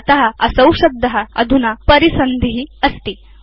अत असौ शब्द अधुना परिसन्धि अस्ति